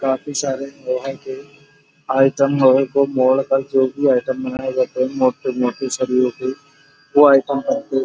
काफी सारे लोहा के आइटम वगैरह को मोड़ कर जो भी आइटम बनाए जाते हैं मोटे-मोटे सरियो के वो आइटम हमको --